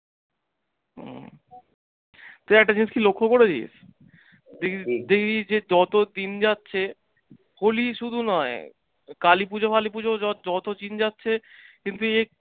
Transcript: তুই একটা জিনিস কি লক্ষ্য করেছিস যে এই যে যত দিন যাচ্ছে holi শুধু নয়, কালি পুজো ফালি পুজো যত দিন যাচ্ছে কিন্তু এই